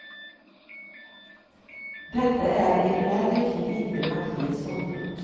Detta är emellertid inte partiets ståndpunkt.